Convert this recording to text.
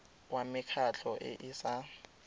wa mekgatlho e e sa